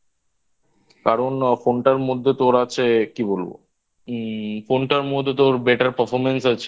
কারণ Phone টার মধ্যে তোর আছে কি বলবো? উম Phone টার মধ্যে তোর Better performance আছে